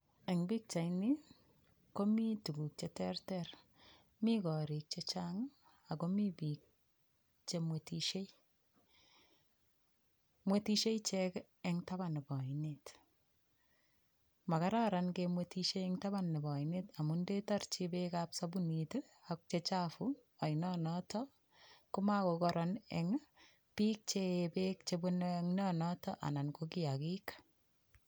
Eng' pikchaini komi tukuk cheterter mi korik chechang' akomi biik chemwetishei mwetishei ichek eng' taban nebo oinet makararan kemwetishei eng' taban nebo oinet amun ndetorchi beekab sabunit ako chechafu oinonoto ko makokoron eng' biik che ee beek chebunei oinonoto anan ko kiyakik